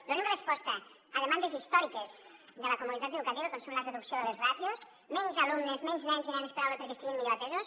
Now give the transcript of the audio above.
donem resposta a demandes històriques de la comunitat educativa com és la reducció de les ràtios menys alumnes menys nens i nenes per aula perquè estiguin millor atesos